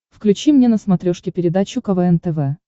включи мне на смотрешке передачу квн тв